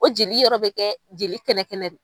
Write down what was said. O jeli yɔrɔ bɛ kɛ jeli kɛnɛ kɛnɛ de ye.